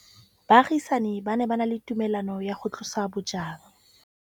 Baagisani ba ne ba na le tumalanô ya go tlosa bojang.